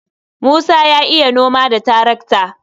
Musa ya iya noma da tarakta.